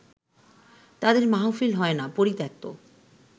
তাঁদের মাহফিল হয় না পরিত্যক্ত